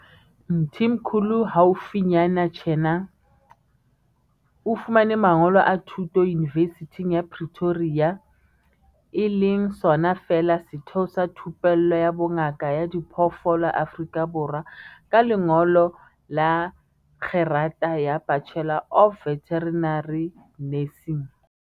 Mthimkhulu haufinyana tjena o fumane mangolo a thuto Yunivesithing ya Pre toria, UP, e leng sona feela setheo sa thupello ya bongaka ba diphoofolo Afrika Borwa, ka lengolo la kgerata ya Bachelor of Veterinary Nursing.